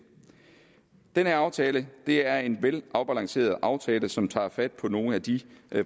den her aftale er en velafbalanceret aftale som tager fat på nogle af de